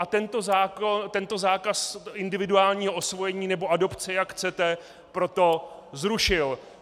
A tento zákaz individuálního osvojení, nebo adopce, jak chcete, proto zrušil.